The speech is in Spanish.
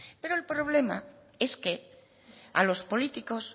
pero el problema es que a los políticos